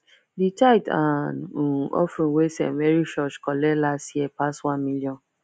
the tithe and um offering wey st mary church collect last year pass one million